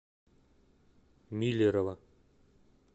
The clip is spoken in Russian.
миллерово